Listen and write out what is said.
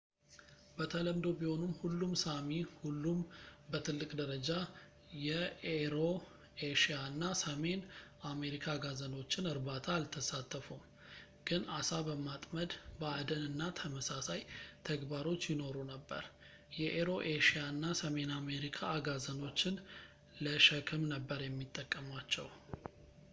በተለምዶ ቢሆንም ሁሉም ሳሚ ሁሉም በትልቅ ደረጃ የኤሮኤሽያ እና ሰሜን አሜሪካ አጋዘኖችን እርባታ አልተሳተፉም ግን ዓሳ በማጥመድ በአደን እና ተመሳሳይ ተግባሮች ይኖሩ ነበር የኤሮኤሽያ እና ሰሜን አሜሪካ አጋዘኖችን ለሸክም ነበር የሚጠቀሟቸው